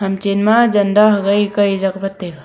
chan ma janda hagai kai ja ngan taiga.